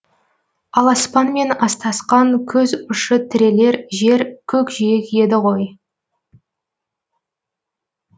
ал аспанмен астасқан көз ұшы тірелер жер көкжиек еді ғой